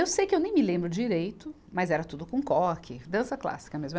Eu sei que eu nem me lembro direito, mas era tudo com coque, dança clássica mesmo.